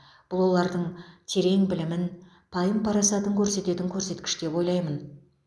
бұл олардың терең білімін пайым парасатын көрсететін көрсеткіш деп ойлаймын